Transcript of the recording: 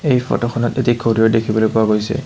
এই ফটোখনত এটি ঘড়ীও দেখিবলৈ পোৱা গৈছে।